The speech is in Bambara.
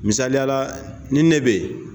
Misaliya la ni ne be ye